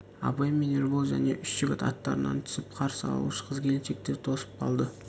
абай мен ербол және үш жігіт аттарынан түсіп қарсы алушы қыз-келіншектерді тосып қалды